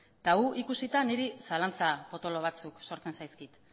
eta hori ikusita niri zalantza potolo batzuk sortzen zaizkit